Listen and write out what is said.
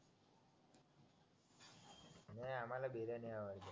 नाय आम्हाला बिर्याणी आवडते